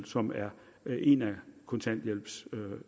som er en af kontanthjælpssatserne